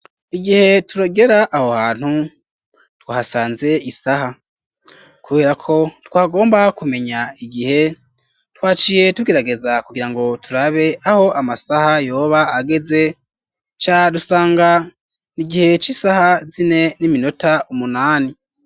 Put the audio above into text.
Igihe turagera aho hantu twahasanze isaha kubera ko twagomba kumenya igihe twaciye tugerageza kugirango turabe aho amasaha yoba ageze duca dusanga n'igihe c'isaha zine n'iminota umunani.